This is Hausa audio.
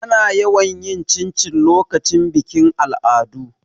Ana yawan yin cincin lokacin bikin al'adu.